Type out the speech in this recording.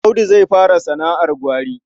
Audu zai fara sana'ar gwari.